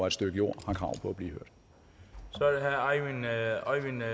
et stykke jord har krav på at blive hørt